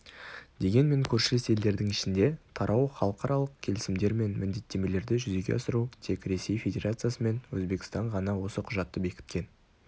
дегенмен көршілес елдердің ішінде тарау халықаралық келісімдер мен міндеттемелерді жүзеге асыру тек ресей федерациясы мен өзбекстан ғана осы құжатты бекіткен